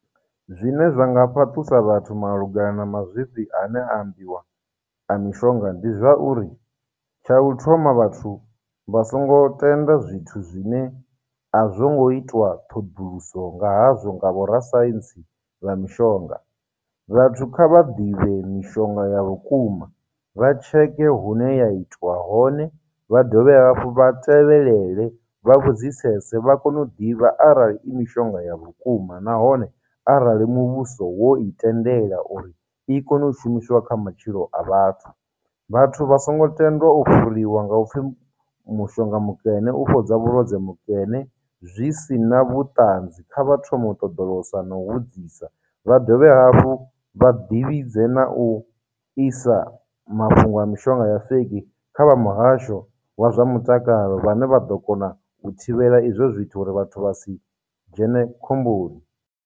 Zwine zwa nga fhaṱusa vhathu malugana na mazwifhi a ne a ambiwa a mishonga ndi zwauri, tsha u thoma vhathu vha songo tenda zwithu zwine a zwongo itiwa ṱhoduluso nga hazwo nga vhorasaintsi vha mishonga, vhathu kha vha ḓivhe mishonga ya vhukuma, vha tsheke hune ya itwa hone, vha dovhe hafhu vha tevhelele, vha vhudzisese, vha kone u ḓivha arali i mishonga ya vhukuma nahone arali muvhuso wo tendela uri i kone u shumisiwa kha matshilo a vhathu. Vhathu vha songo tendwa u fhuriwa nga upfhi mushonga mukene u fhodza vhulwadze mukene zwi sina vhuṱanzi, kha vha thomo u ṱoḓulosa na u vhudzisa, vha dovhe hafhu vha ḓivhidze na u isa mafhungo a mishonga ya feiki kha vha muhasho wa zwa mutakalo vhane vha ḓo kona u thivhela izwo zwithu uri vhathu vha si dzhene khomboni.